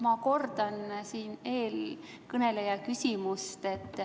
Ma kordan eelkõneleja küsimust.